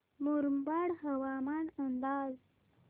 मुरबाड हवामान अंदाज